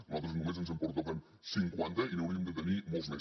a nosaltres només ens en pertoquen cinquanta i n’hauríem de tenir molts més